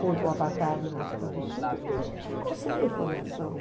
contra o apartheid na África do Sul, a gente ficou sem informação.